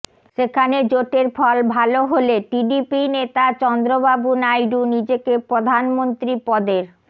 সেখানে জোটের ফল ভাল হলে টিডিপি নেতা চন্দ্রবাবু নাইডু নিজেকে প্রধানমন্ত্রী পদের